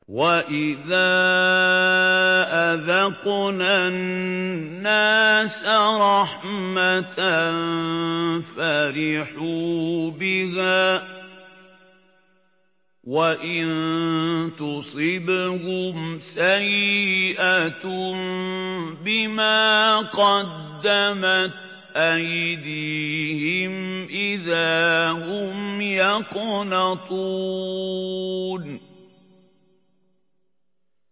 وَإِذَا أَذَقْنَا النَّاسَ رَحْمَةً فَرِحُوا بِهَا ۖ وَإِن تُصِبْهُمْ سَيِّئَةٌ بِمَا قَدَّمَتْ أَيْدِيهِمْ إِذَا هُمْ يَقْنَطُونَ